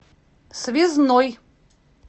связной